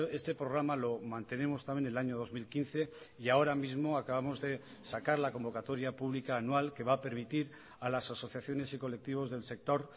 este programa lo mantenemos también el año dos mil quince y ahora mismo acabamos de sacar la convocatoria pública anual que va a permitir a las asociaciones y colectivos del sector